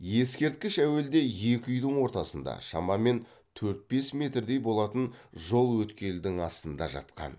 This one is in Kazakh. ескерткіш әуелде екі үйдің ортасында шамамен төрт бес метрдей болатын жол өткелдің астында жатқан